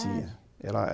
Tinha.